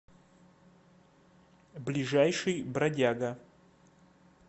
ближайший бродяга